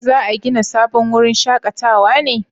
za a gina sabon wurin shakatawa ne?